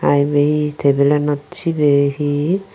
aebay he tabilanot sebay he.